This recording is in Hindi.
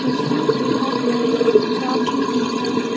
इंसान के हाथ में चाभी भी है।